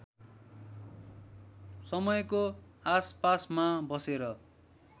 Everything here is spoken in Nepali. समयको आसपासमा बसेर